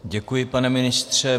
Děkuji, pane ministře.